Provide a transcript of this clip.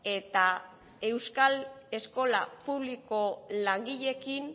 eta euskal eskola publikoko langileekin